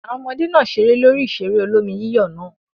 Àwọn ọmọdé náà ṣeré lórí ìṣeré olómi-yíyọ̀ náà?